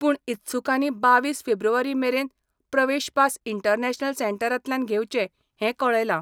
पूण इत्सुकांनी बावीस फेब्रुवारी मेरेन प्रवेश पास इंटरनॅशनल सेंटरांतल्यान घेवचे हें कळयलां.